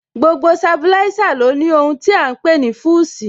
Gbogbo Sabilísà ní ó ní ohun tí à ń pè ní Fúsìì